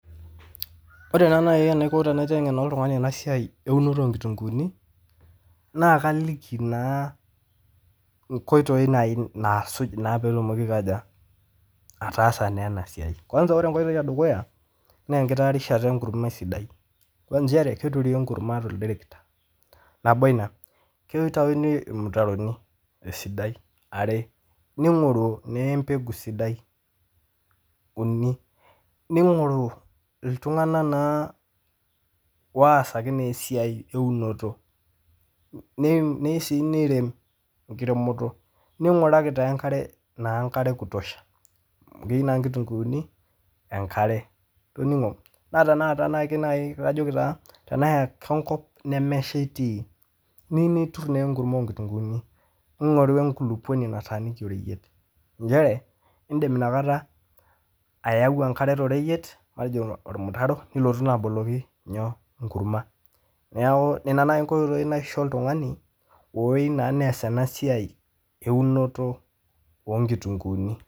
Ore naii enaiko tenaitengen oltungani ena siai eunoto oonkitunguuni naa kaliki naa nkoitoi naii naasuj peetumoki aikoja, ataasa naa ena siai, kwansa ore enkoitoi edukuya naa nkitaarishata enkurrumwa sidaim, naa inchere keturi enkurruma te lterekita nabo ina, keitayuni irmitaroni te sidai are, neing'oru naa empegu sidai uni, neing'oru iltungana naa oasaki naa esiai eunoto neyeu sii neitei nkiremoto, neing'uraki taa enkare, enkare e kutosha amu keyeu naa nkitunguuni enkare itining'o, naa tanaa ake naii kajoki taa teneyaka enkop nemesheta neyeu niturr naa enkumoo onkitunguni, ingoru enkuluponi nataaniki royieta inchere iindim inakata ayau onkare to royiet peejing' ormutaro nilotu naa aboloki nyoo, inkurrumwa naaku nena nai inkotoi naisho oltungani oyeu naii neas ena siai eunoto oo nkitunguuni.